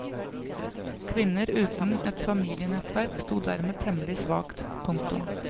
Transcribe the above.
Kvinner uten et familienettverk sto dermed temmelig svakt. punktum